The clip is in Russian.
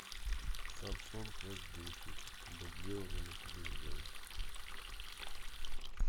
самсунг эс десять дублирование на телевизоре